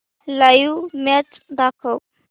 live match दाखव